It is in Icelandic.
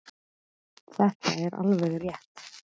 Þetta er alveg rétt.